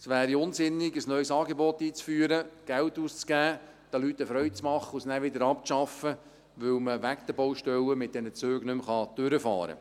Es wäre unsinnig, ein neues Angebot einzuführen, Geld auszugeben, den Leuten eine Freude zu machen und es dann wieder abzuschaffen, weil man wegen den Baustellen mit diesen Zügen nicht mehr durchfahren kann.